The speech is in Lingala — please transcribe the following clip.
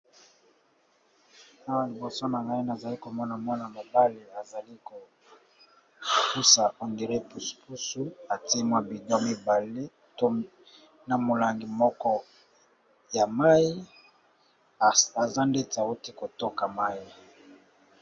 Awa liboso na naine azali komona mwana mobale azali kopusa ongre pusupusu atimwa bidio mibale to na molangi moko ya mai aza ndete auti kotoka mai.